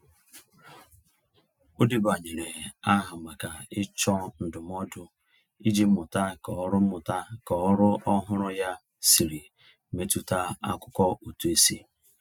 O debanyere aha maka ịchọ ndụmọdụ iji mụta ka ọrụ mụta ka ọrụ ọhụrụ ya siri metụta akụkọ ụtụisi.